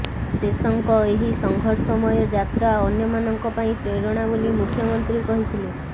ଶେଷଙ୍କ ଏହି ସଂଘର୍ଷମୟ ଯାତ୍ରା ଅନ୍ୟ ମାନଙ୍କ ପାଇଁ ପ୍ରେରଣା ବୋଲି ମୁଖ୍ୟମନ୍ତ୍ରୀ କହିଥିଲେ